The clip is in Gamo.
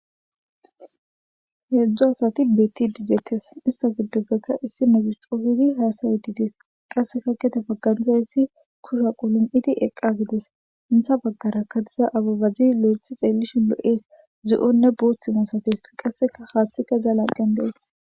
heedzdzu asati betti didettes ista giddoppekka issi metisxofidi haasayedidees qasseka kete bagganiza yssi kusha qulum7iti eqqa gides intha baggara kadiza ababazi lo7ethi xeellishi lo7ees zu7onne booththimo sates qasseka haaththi ke za laqqen dees